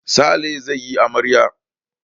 Sale zai yi amarya.